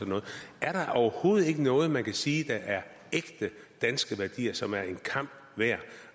noget er der overhovedet ikke noget man kan sige er ægte danske værdier og som er en kamp værd